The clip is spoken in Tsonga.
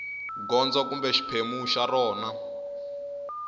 gondzo kumbe xiphemu xa rona